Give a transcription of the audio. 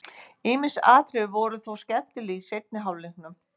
Ýmis atriði voru þó skemmtileg í seinni hálfleiknum.